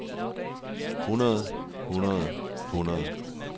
hundrede hundrede hundrede